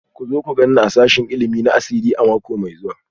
Ku zo ku gan ni a sashen ilimi na asiri a mako mai zuwa